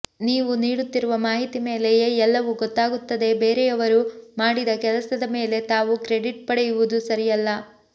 ನೀವು ನೀಡುತ್ತಿರುವ ಮಾಹಿತಿ ಮೇಲೆಯೆ ಎಲ್ಲವೂ ಗೊತ್ತಾಗುತ್ತದೆ ಬೇರೆಯವರು ಮಾಡಿದ ಕೆಲಸದ ಮೇಲೆ ತಾವು ಕ್ರೇಡಿಟ್ ಪಡೆಯುವುದು ಸರಿಯಲ್ಲ